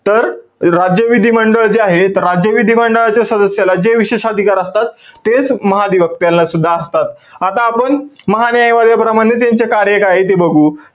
तर, राज्य विधिमंडळ जे आहे, तर राज्य विधिमंडळाच्या सदस्याला जे विशेष अधिकार असतात. तेच महाधिवक्त्याला सुद्धा असतात. आता आपण, महान्यायवाद्याप्रमाणेच त्यांचे कार्य काय आहे ते बघू.